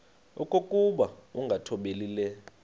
okokuba ukungathobeli le